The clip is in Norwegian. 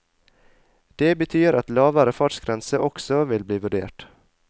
Det betyr at lavere fartsgrense også vil bli vurdert.